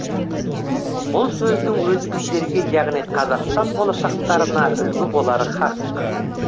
бұл сөздің өзі біздерге яғни қазақстан болашақтарына үлгі болары қақ